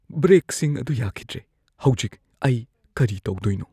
ꯕ꯭ꯔꯦꯛꯁꯤꯡ ꯑꯗꯨ ꯌꯥꯈꯤꯗ꯭ꯔꯦ꯫ ꯍꯧꯖꯤꯛ ꯑꯩ ꯀꯔꯤ ꯇꯧꯗꯣꯏꯅꯣ?